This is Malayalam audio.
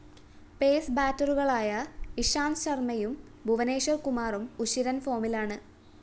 പേസ്‌ ബാറ്ററികളായ ഇഷാന്ത് ശര്‍മ്മയും ഭുവനേശ്വര്‍ കുമാറും ഉശിരന്‍ ഫോമിലാണ്